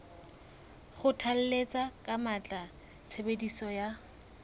kgothalletsa ka matla tshebediso ya